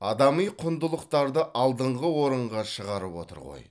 адами құндылықтарды алдыңғы орынға шығарып отыр ғой